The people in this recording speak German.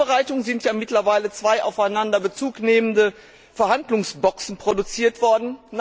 Zur Vorbereitung sind ja mittlerweile zwei aufeinander Bezug nehmende Verhandlungsboxen produziert worden.